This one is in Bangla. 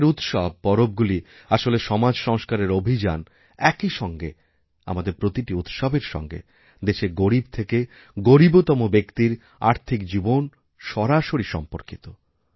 আমাদের উৎসব পরবগুলি আসলে সমাজ সংস্কারের অভিযানএকই সঙ্গে আমাদের প্রতিটি উৎসবের সঙ্গে দেশের গরীব থেকে গরীবতম ব্যক্তির আর্থিকজীবন সরাসরি সম্পর্কিত